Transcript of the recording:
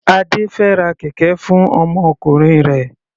Adé fẹ ra kẹ̀kẹ́ fún ọmọkùnrin rẹ̀.